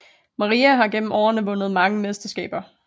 Maria har igennem årene vundet mange mesterskaber